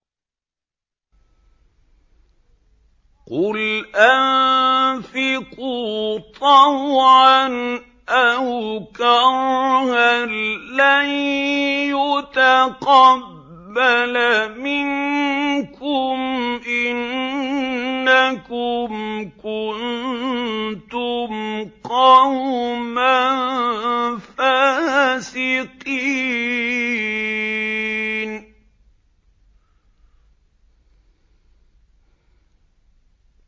قُلْ أَنفِقُوا طَوْعًا أَوْ كَرْهًا لَّن يُتَقَبَّلَ مِنكُمْ ۖ إِنَّكُمْ كُنتُمْ قَوْمًا فَاسِقِينَ